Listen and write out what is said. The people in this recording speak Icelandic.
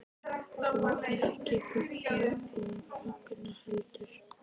Og ekki Gugga og Högna heldur.